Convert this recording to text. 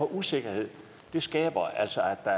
usikkerhed altså at